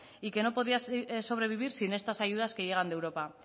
y que no podría sobrevivir sin estas ayudas que llegan de europa